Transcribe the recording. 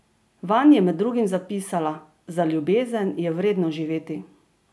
Vanj je med drugim zapisala: "Za ljubezen je vredno živeti.